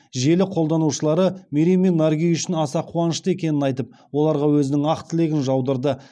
желі қолданушылары мерей мен наргиз үшін аса қуанышты екенін айтып оларға өзінің ақ тілегін жаудырды